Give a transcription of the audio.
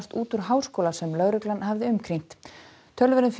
út úr háskóla sem lögreglan hafði umkringt